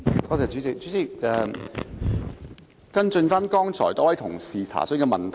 代理主席，我想跟進多位議員詢問的問題。